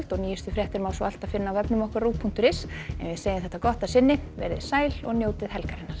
og nýjustu fréttir má alltaf finna á rúv punktur is en við segjum þetta gott að sinni veriði sæl og njótið helgarinnar